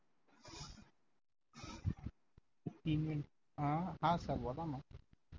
अं हा सर बोला ना